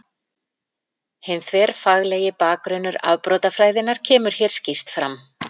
Hinn þverfaglegi bakgrunnur afbrotafræðinnar kemur hér skýrt fram.